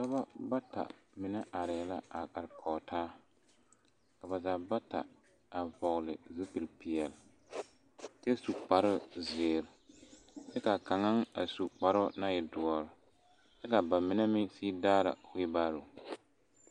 Dɔba bata mine arɛɛ la a are kɔge taa ka ba zaa bata a vɔgle zupilipeɛle kyɛ su kparezeere kyɛ k,a kaŋa a su kparoo naŋ e doɔre kyɛ ka ba mine meŋ sigi daara weel baaro.